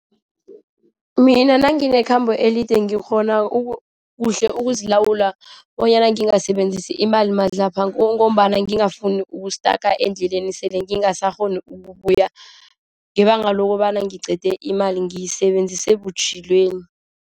Mina nanginekhambo elide ngikghona kuhle ukuzilawula, bonyana ngingasebenzisi imali madlhabha ngombana ngingafuni uku-stuck endleleni. Sele ngingasakghoni ukubuya ngebanga lokobana ngiqede imali, ngiyisebenzise butjhilweni.